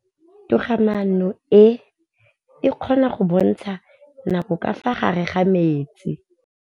Toga-maanô e, e kgona go bontsha nakô ka fa gare ga metsi.